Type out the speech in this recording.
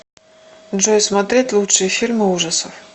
джой смотреть лучшие фильмы ужасов